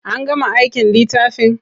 An gama aikin littafin?